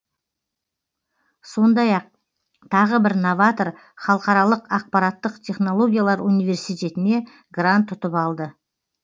сондай ақ тағы бір новатор халықаралық ақпараттық технологиялар университетіне грант ұтып алды